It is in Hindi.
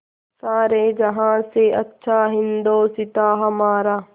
सारे जहाँ से अच्छा हिन्दोसिताँ हमारा